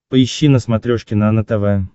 поищи на смотрешке нано тв